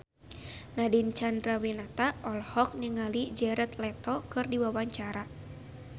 Nadine Chandrawinata olohok ningali Jared Leto keur diwawancara